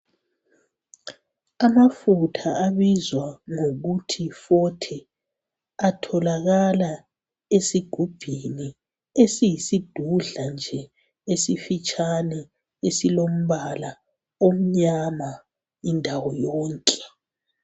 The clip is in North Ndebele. amafutha abizwa ngokuthi yi forte atholakala esigubhini esiyisidudla nje esifitshane esilombala omnyama indawo yonke